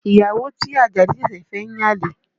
Ìyàwó tí Ajadi ṣẹ̀ṣẹ̀ fẹ́ ń yan àlè